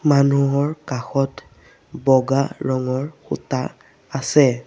মানুহৰ কাষত বগা ৰঙৰ সূতা আছে।